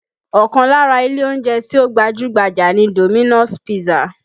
Ọkàn lára ilé oúnjẹ tí ó gbajú-gbajà ni Dominos pizza